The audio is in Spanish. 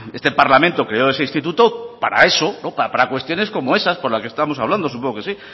este parlamento creó ese instituto para eso para cuestiones como esas como la que estamos hablando supongo que sí